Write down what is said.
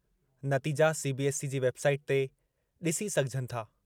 नतीजा सीबीएसई जी वेबसाइट ते डि॒सी सघिजनि था।